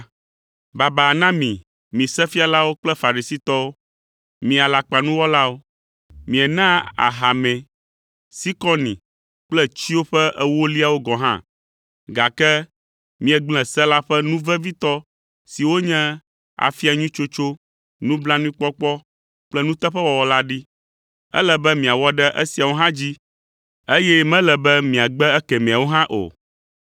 “Baba na mi, mi Sefialawo kple Farisitɔwo, mi alakpanuwɔlawo! Mienaa ahamɛ, sikɔni kple tsyo ƒe ewoliawo gɔ̃ hã, gake miegblẽ se la ƒe nu vevitɔ siwo nye afia nyui tsotso, nublanuikpɔkpɔ kple nuteƒewɔwɔ la ɖi. Ele be miawɔ ɖe esiawo hã dzi, eye mele be miagbe ekemɛawo hã o.